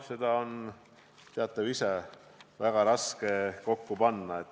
Seda on, teate ju ise, väga raske kokku panna.